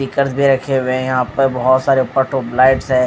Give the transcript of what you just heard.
पीकर्स भी रखे हुए हैं। यहां पर बहुत सारे ट्यूब लाइट्स हैं।